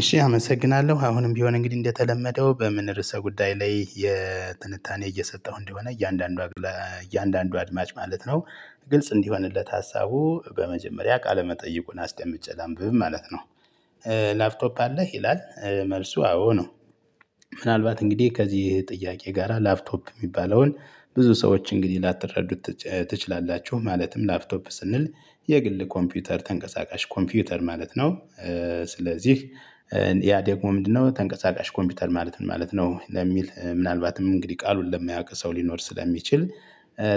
እሺ አመሰግናለሁ አሁንም ቢሆን እንግዲህ እንደተለመደው በምን ርዕሰ ጉዳይ ላይ የትንታኔ እየሰጠሁ እንደሆነ እያንዳንዱ እያንዳንዱ አድማጭ ማለት ነው። ግልጽ እንዲሆንለት ሀሳቡ በመጀመሪያ ቃለመጠይቁን አስደምጬ ላንብብ ማለት ነው። ላፕቶፕ አለህ ይላል? መልሱ አዎ ነው። ምናልባት እንግዲህ ከዚህ ጥያቄ ጋራ ላፕቶፕ የሚባለውን ብዙ ሰዎች እንግዲህ ላተረዱት ትችላላችሁ ማለትም ላፕቶፕ ስንል የግል ኮምፒውተር ተንቀሳቃሽ ኮምፒውተር ማለት ነው። ስለዚህ ያ ደግሞ ምንድነው? ተንቀሳቃሽ ኮምፒውተር ማለት ምን ማለት ነው ለሚል ምናልባትም እንግዲህ ቃሉን ለማያውቅ ሰው ሊኖር ስለሚችል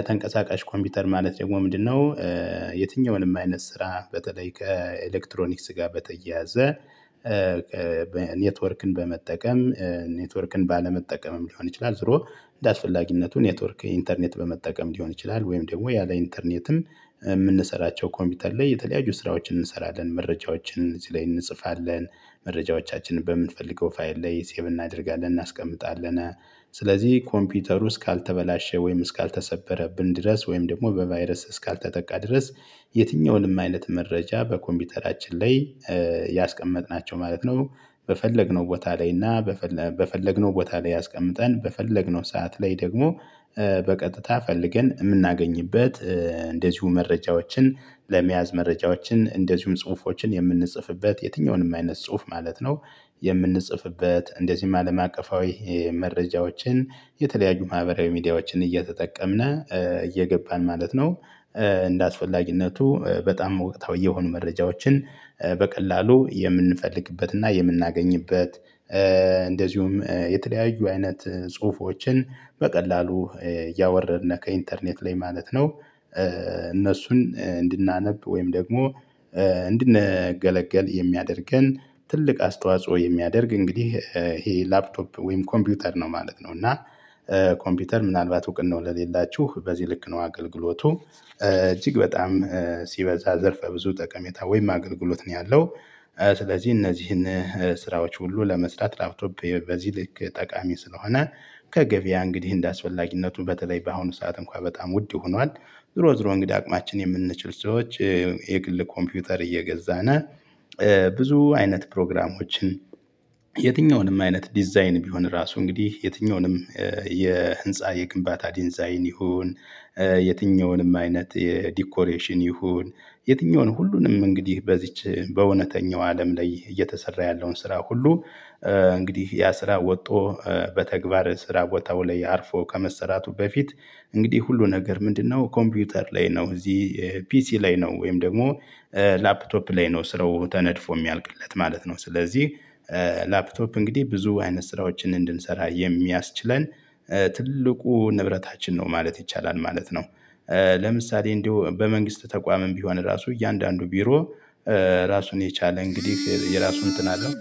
ተንቀሳቃሽ ኮምፒውተር ማለት ደግሞ ምንድነው? የትኛውንም አይነት ስራ በተለይ ከኤሌክትሮኒክስ ጋር በተያያዘ። ኔትወርክን በመጠቀም ኔትወርክን ባለመጠቀምም ሊሆን ይችላል ዝሮ እንደአስፈላጊነቱ ኔትወርክ ኢንተርኔት በመጠቀም ሊሆን ይችላል። ወይም ደግሞ ያለ ኢንተርኔትን የምንሰራቸው ኮምፒውተር ላይ የተለያዩ ስራዎችን እንሰራለን መረጃዎችን እዚህ ላይ እንጽፋለን። መረጃዎቻችንን በምንፈልገው ፋይል ላይ ሴቭ እናደርጋለን እናስቀምጣለን። ስለዚህ ኮምፒውተሩ እስካልተበላሸ ወይም እስካልተሰበረብን ድረስ ወይም ደግሞ በቫይረስ እስካልተጠቃ ድረስ። የትኛውንም አይነት መረጃ በኮምፒውተራችን ላይ ያስቀመጥናቸው ማለት ነው። በፈለግነው ቦታ ላይ እና በፈለግነው ቦታ ላይ አስቀምጠን በፈለግነው ሰዓት ላይ ደግሞ በቀጥታ ፈልገን የምናገኝበት እንደዚሁ መረጃዎችን ለመያዝ መረጃዎችን እንደዚሁም ጽሁፎችን የምንጽፍበት የትኛውንም አይነት ጽሁፍ ማለት ነው። የምንጽፍበት እንደዚህም አለም አቀፋዊ መረጃዎችን የተለያዩ ማህበራዊ ሚዲያዎችን እየተጠቀምን እየገባን ማለት ነው። እንደአስፈላጊነቱ በጣም ወቅታዊ የሆኑ መረጃዎችን በቀላሉ የምንፈልግበት እና የምናገኝበት እንደዚሁም የተለያዩ አይነት ጽሁፎችን በቀላሉ እያወረድነህ ከኢንተርኔት ላይ ማለት ነው። እነሱን እንድናነብ ወይም ደግሞ እንድንገለገል የሚያደርገን ትልቅ አስተዋጽኦ የሚያደርግ እንግዲህ ይሄ ላፕቶፕ ወይም ኮምፒውተር ነው ማለት ነው። እና ኮምፒውተር ምናልባት እውቅናው ለሌላችሁ በዚህ ልክ ነው። አገልግሎቱ እጅግ በጣም ሲበዛ ዘርፈ ብዙ ጠቀሜታ ወይም አገልግሎት ነው ያለው። ስለዚህ እነዚህን ስራዎች ሁሉ ለመስጠት ላፕቶፕ በዚህ ልክ ጠቃሚ ስለሆነ ከገበያ እንግዲህ እንደአስፈላጊነቱ በተለይ በአሁኑ ሰዓት እንኳን በጣም ውድ ሆኗል። ዝሮ ዝሮ እንግድህ አቅማችን የምንችል ሰዎች። የግል ኮምፒውተር እየገዛን ብዙ አይነት ፕሮግራሞችን የትኛውንም አይነት ዲዛይን ቢሆን ራሱ እንግዲህ የትኛውንም የህንፃ የግንባታ ዲንዛይን ይሁን የትኛውንም አይነት የዲኮሬሽን ይሁን የትኛውንም ሁሉንም እንግዲህ በዚች በእውነተኛው አለም ላይ እየተሰራ ያለውን ስራ ሁሉ። እንግዲህ ያ ስራ ወጦ በተግባር ስራ ቦታው ላይ አርፎ ከመሰራቱ በፊት። እንግዲህ ሁሉ ነገር ምንድነው? ኮምፒውተር ላይ ነው እዚህ ፒሲ ላይ ነው ወይም ደግሞ ላፕቶፕ ላይ ነው ስለው ተነድፎ የሚያልቅለት ማለት ነው። ስለዚህ ላፕቶፕ እንግዲህ ብዙ አይነት ስራዎችን እንድንሰራ የሚያስችለን ትልቁ ንብረታችን ነው ማለት ይቻላል ማለት ነው። ለምሳሌ እንዲሁ በመንግስት ተቋምም ቢሆን ራሱ እያንዳንዱ ቢሮ ራሱን የቻለ እንግዲህ የራሱ እንትን አለው።